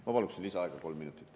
Ma paluksin lisaaega kolm minutit.